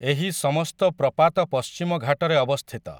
ଏହି ସମସ୍ତ ପ୍ରପାତ ପଶ୍ଚିମଘାଟରେ ଅବସ୍ଥିତ ।